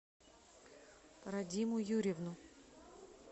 радиму юрьевну